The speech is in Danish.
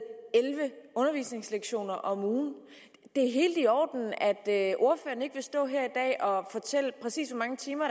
elleve undervisningslektioner om ugen det er helt i orden at ordføreren ikke vil stå her og fortælle præcis hvor mange timer